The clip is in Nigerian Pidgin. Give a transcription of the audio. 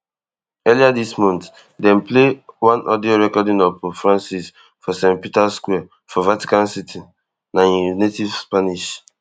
earlier dis month dem play one audio recording of pope francis for st peters square for vatican city na im native spanish